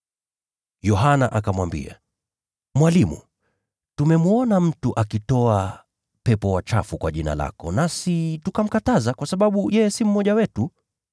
Yohana akamwambia, “Mwalimu, tumemwona mtu akitoa pepo wachafu kwa jina lako, nasi tukamkataza, kwa sababu yeye si mmoja wetu.”